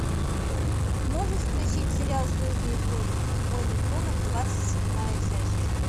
можешь включить сериал звездные войны войны клонов двадцать седьмая часть